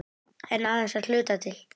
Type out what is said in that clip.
En aðeins að hluta til.